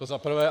To za prvé.